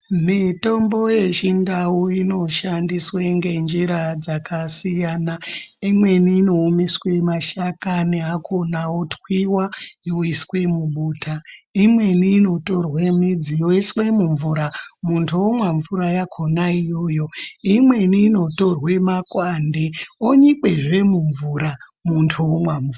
Mitombo yechindau inoshandiswe ngenjira dzakasiyana. Imweni inoomeswe mashakani akhona otwiwa yoiswe mubota, imweni inotorwe midzi yoiswe mumvura muntu omwa mvura yakhona iyoyo. Imweni inotorwe makwande onyikwazve mumvura muntu omwa mvura.